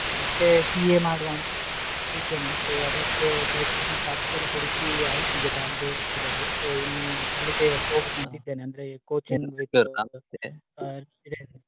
ಅದೇ ಮತ್ತೆ CA ಮಾಡುವ ಅಂತ ಇದ್ದೇನೆ. So ಅದಕ್ಕೆ ಈಗ coaching classes ಎಲ್ಲ ಹುಡ್ಕಿ ಆಯ್ತ್ ಈಗ Bangalore ಅಲ್ಲಿ. So ಇನ್ನು ಅಲ್ಲಿಗೆ ಹೋಗುವ ಅಂತ ಇದೇನೆ ಅಂದ್ರೆ .